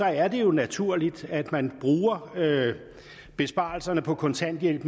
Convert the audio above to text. er det jo naturligt at man bruger besparelserne på kontanthjælp